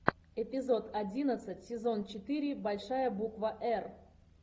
эпизод одиннадцать сезон четыре большая буква р